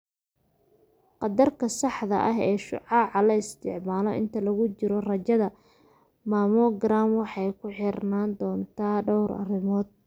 Qadarka saxda ah ee shucaaca la isticmaalo inta lagu jiro raajada mammogram waxay ku xirnaan doontaa dhowr arrimood.